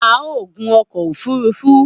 A o gun ọkọ òfurufú